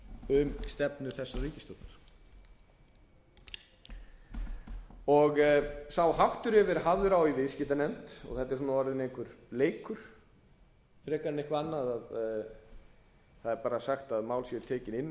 um stefnu þessarar ríkisstjórnar sá háttur hefur verið hafður á í viðskiptanefnd og þetta er orðinn einhver leikur frekar en eitthvað annað að það er sagt að mál séu tekin inn á